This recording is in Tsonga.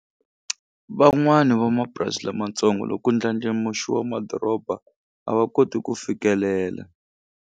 Van'wani vamapurasi lamatsongo loku ndlandlamuxiwa madoroba a va koti ku fikelela.